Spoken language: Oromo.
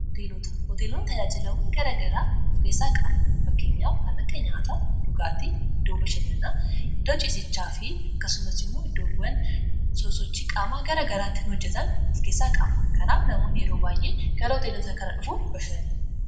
Hoteelonni tajaajiloota garaa garaa of keessaa qabu. Fakkeenyaaf: tajaajila nyaataa fi dhugaatii, iddoo bashannanaa, iddoo ciisichaa (bakka bultii), akkasumas iddoo sochii qaamaa garaa garaa itti hojjetan of keessaa qabu. Kanaafuu, namoonni yeroo baay'ee gara hoteelota kanaa dhufuun ni bashannanu.